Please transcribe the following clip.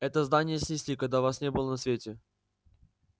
это здание снесли когда вас не было на свете